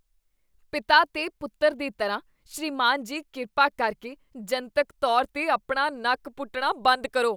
ਪਿਤਾ ਤੇ ਪੁੱਤਰ ਦੀ ਤਰ੍ਹਾਂ, ਸ੍ਰੀਮਾਨ ਜੀ , ਕਿਰਪਾ ਕਰਕੇ ਜਨਤਕ ਤੌਰ 'ਤੇ ਆਪਣਾ ਨੱਕ ਪੁੱਟਣਾ ਬੰਦ ਕਰੋ।